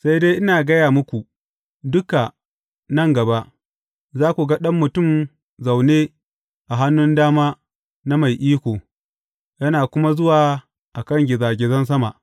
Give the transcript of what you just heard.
Sai dai ina gaya muku duka, nan gaba, za ku ga Ɗan Mutum zaune a hannun dama na Mai Iko, yana kuma zuwa a kan gizagizan sama.